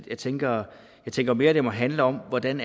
jeg tænker tænker mere at det må handle om hvordan